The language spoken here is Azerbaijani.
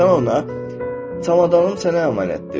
Sən ona çamadanın sənə əmanətdir.